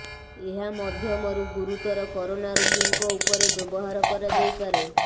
ଏହା ମଧ୍ୟମରୁ ଗୁରୁତର କରୋନା ରୋଗୀଙ୍କ ଉପରେ ବ୍ୟବହାର କରାଯାଇପାରେ